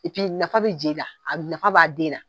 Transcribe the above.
nafa bɛ je la, nafa b'a den na.